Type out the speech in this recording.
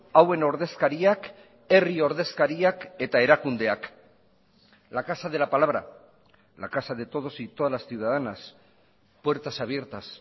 hauen ordezkariak herri ordezkariak eta erakundeak la casa de la palabra la casa de todos y todas las ciudadanas puertas abiertas